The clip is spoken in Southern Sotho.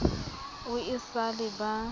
o e sa le ba